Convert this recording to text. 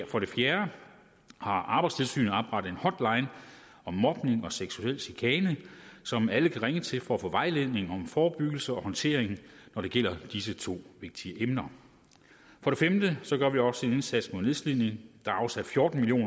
for det fjerde har arbejdstilsynet oprettet en hotline om mobning og seksuel chikane som alle kan ringe til for at få vejledning om forebyggelse og håndtering når det gælder disse to vigtige emner for det femte gør vi også en indsats mod nedslidning der er afsat fjorten million